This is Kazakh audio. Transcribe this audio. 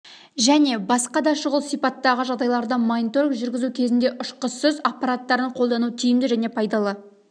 және басқа да шұғыл сипаттағы жағдайларда мониторинг жүргізу кезінде ұшқышсыз аппараттарын қолдану тиімді және пайдалы